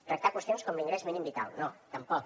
tractar hi qüestions com l’ingrés mínim vital no tampoc